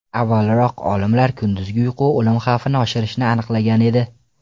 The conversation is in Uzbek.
Avvalroq olimlar kunduzgi uyqu o‘lim xavfini oshirishini aniqlagan edi .